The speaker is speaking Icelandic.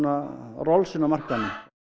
Rollsinn á markaðnum